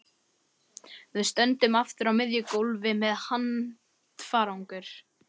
Við stöndum aftur á miðju gólfi með handfarangur.